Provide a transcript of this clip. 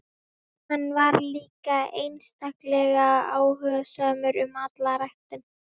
Hann var líka einstaklega áhugasamur um alla ræktun.